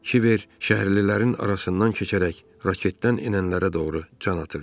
Kiber şəhərlilərin arasından keçərək raketdən enənlərə doğru can atırdı.